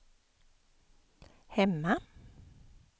hemma